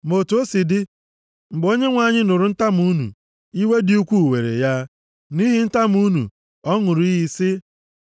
Ma otu o si dị, mgbe Onyenwe anyị nụrụ ntamu unu, iwe dị ukwuu were ya, nʼihi ntamu unu, ọ ṅụrụ iyi sị,